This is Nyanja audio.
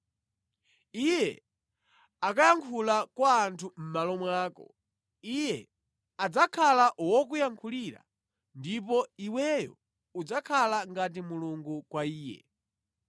Iye akayankhula kwa anthu mʼmalo mwako. Iye adzakhala wokuyankhulira ndipo iweyo udzakhala ngati Mulungu kwa iye.